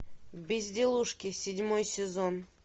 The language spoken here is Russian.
безделушки седьмой сезон